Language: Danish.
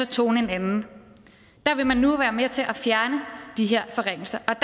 tonen en anden der vil man nu være med til at fjerne de her forringelser der